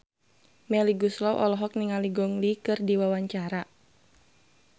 Melly Goeslaw olohok ningali Gong Li keur diwawancara